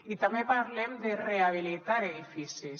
i també parlem de rehabilitar edificis